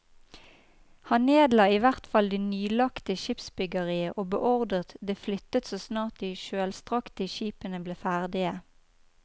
Han nedla i hvert fall det nyanlagte skipsbyggeriet og beordret det flyttet så snart de kjølstrakte skipene ble ferdige.